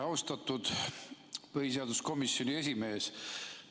Austatud põhiseaduskomisjoni esimees!